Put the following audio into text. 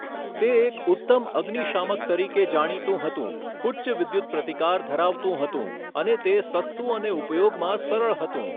તે એક ઉત્તમ અગ્નિશામક તરીકે જાણીતું હતું, ઉચ્ચ વિદ્યુત પ્રતિકાર ધરાવતું હતું, અને તે સસ્તું અને ઉપયોગમાં સરળ હતું.